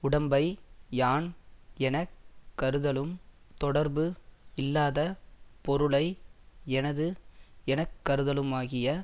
உடம்பை யான் என கருதலும் தொடர்பு இல்லாத பொருளை எனது எனக்கருதலுமாகிய